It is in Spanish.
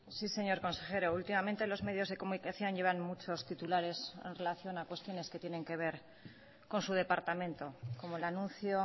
sí señor consejero últimamente los medios de comunicación llevan muchos titulares en relación a cuestiones que tienen que ver con su departamento como el anuncio